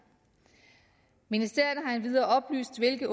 ministerierne har endvidere oplyst hvilke